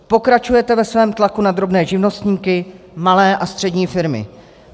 Pokračujete ve svém tlaku na drobné živnostníky, malé a střední firmy.